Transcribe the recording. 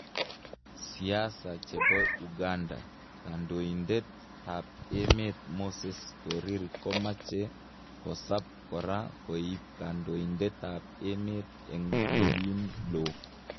Siasa chepo uganda,"Kandoitet ap emet Moses korir komache kosap kora koip kandoitet ap emet en ngolin lo